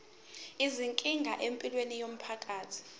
izinkinga empilweni yomphakathi